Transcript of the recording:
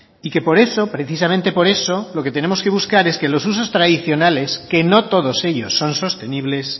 y que por eso precisamente por eso lo que tenemos que buscar es que los usos tradicionales que no todos ellos son sostenibles